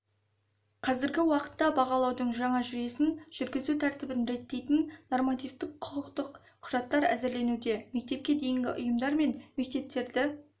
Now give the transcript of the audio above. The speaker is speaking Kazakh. қазіргі уақытта бағалаудың жаңа жүйесін жүргізу тәртібін реттейтін нормативтік-құқықтық құжаттар әзірленуде мектепке дейінгі ұйымдар мен мектептерді